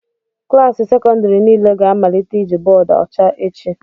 Klaasị sekọndrị niile ga-amalite iji bọọdụ ọcha echi